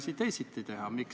Aivar Kokk, palun!